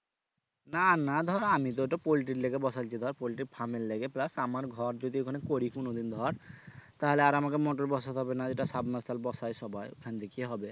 না না ধর আমি তো ওটা পোল্টির লিগে বসাইছি ধর পলটির firm এর লিগে plus আমার ঘর যদি ওখানে করি কোনদিন ধর তাইলে আর আমাকে motor বসাতে হবে না এটা বাসায় সবাই এখান থেকে হবে